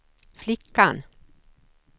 flickan